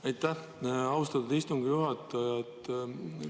Aitäh, austatud istungi juhataja!